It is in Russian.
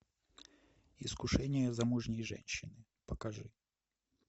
искушение замужней женщины покажи